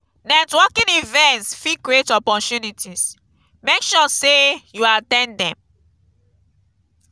networking events fit create opportunities; make sure say you at ten d dem.